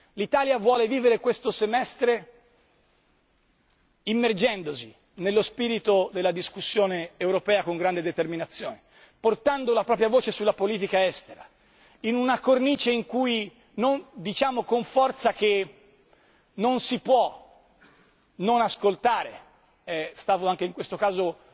L'Italia vuole vivere questo semestre immergendosi nello spirito della discussione europea con grande determinazione, portando la propria voce sulla politica estera in una cornice in cui noi diciamo con forza che non si può non ascoltare è stato anche in questo caso